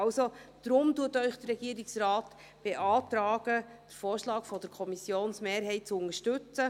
Also: Deshalb beantragt Ihnen der Regierungsrat, den Vorschlag der Kommissionsmehrheit zu unterstützen.